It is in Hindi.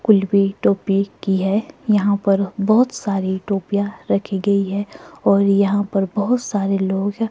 कुलवी टोपी की है यहां पर बहोत सारी टोपिया रखी गई है और यहां पर बहोत सारे लोग--